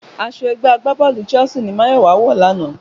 Aṣọ ẹgbẹ́ agbábọ́ọ̀lù Chelsea ni Máyọ̀wá wọ̀ lánàá